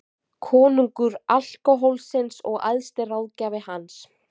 Konungur alkóhólsins og æðsti ráðgjafi hans.